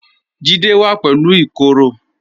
Jídẹ̀ wà pẹ̀lú ìkoro